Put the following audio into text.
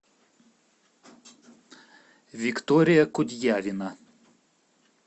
виктория кудьявина